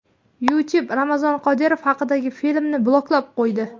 YouTube Ramzan Qodirov haqidagi filmni bloklab qo‘ydi.